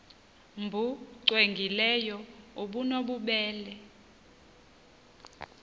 nbu cwengileyo obunobubele